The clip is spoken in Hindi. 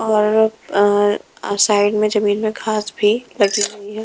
और-अर-अ साइड में जमीन में घास भीं लगी हुई हैं।